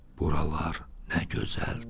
Buralar nə gözəldir!